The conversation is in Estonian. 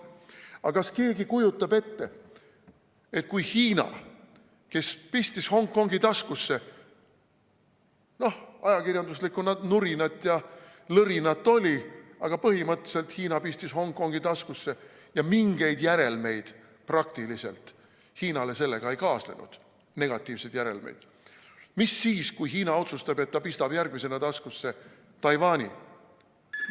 Aga kas keegi kujutab ette seda, kui Hiina, kes pistis Hongkongi taskusse – noh, ajakirjandusliku nurinat ja lõrinat oli, aga põhimõtteliselt Hiina pistis Hongkongi taskusse ja mingeid negatiivseid järelmeid Hiinale sellest praktiliselt ei tekkinud –, otsustab, et ta pistab järgmisena taskusse Taiwani?